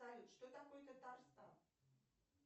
салют что такое татарстан